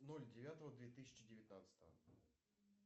ноль девятого две тысячи девятнадцатого